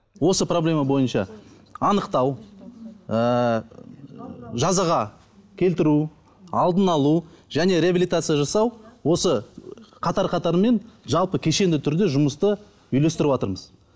осы проблема бойынша анықтау ыыы жазаға келтіру алдын алу және реабилитация жасау осы қатар қатарымен жалпы кешенді түрде жұмысты үйлестіріватырмыз